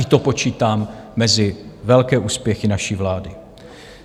I to počítám mezi velké úspěchy naší vlády.